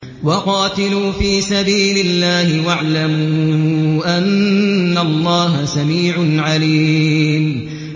وَقَاتِلُوا فِي سَبِيلِ اللَّهِ وَاعْلَمُوا أَنَّ اللَّهَ سَمِيعٌ عَلِيمٌ